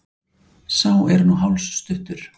Sá er nú hálsstuttur!